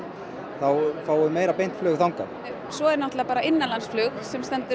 þá fáum við meira beint flug þangað svo er náttúrulega bara innanlandsflug sem stendur